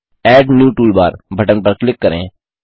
add new toolbar button पर click करें